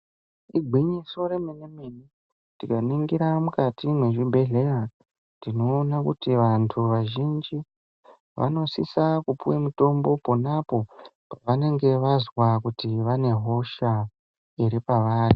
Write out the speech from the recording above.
Igwinyiso remene-mene. Tikaningira mukati muzvibhehleya tinoona kuti vantu vazhinji vanosisa kupuwe mutombo, ponapo pavenenge vazwa kuti pane hosha iri pavari.